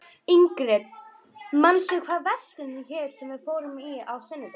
Ingrid, manstu hvað verslunin hét sem við fórum í á sunnudaginn?